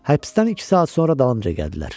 Həbsdən iki saat sonra dalımca gəldilər.